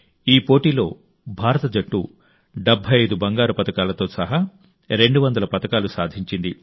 ఈ పోటీలో భారత జట్టు 75 బంగారు పతకాలతో సహా 200 పతకాలు సాధించింది